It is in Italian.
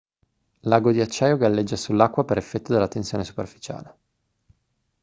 l'ago di acciaio galleggia sull'acqua per effetto della tensione superficiale